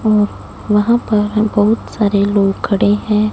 अ वहां पर हम बहुत सारे लोग खड़े हैं।